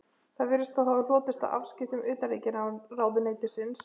Það virðist þó hafa hlotist af afskiptum utanríkisráðuneytisins af